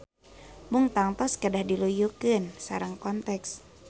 Mung tangtos kedah diluyukeun sareng konteks.